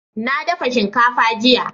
na dafa shinkafa jiya